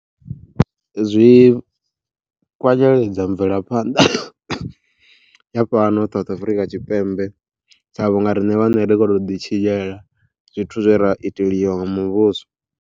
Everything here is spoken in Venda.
Zwi kwanyeledza mvelaphanḓa ya fhano South Afurika Tshipembe sa vhunga riṋe vhaṋe rikho to ḓi tshinyela zwithu zwe ra iteliwa nga muvhuso.